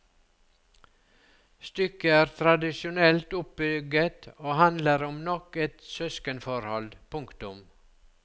Stykket er tradisjonelt oppbygget og handler om nok et søskenforhold. punktum